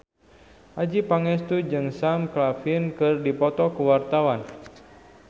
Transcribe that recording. Adjie Pangestu jeung Sam Claflin keur dipoto ku wartawan